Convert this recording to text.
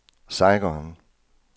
Saigon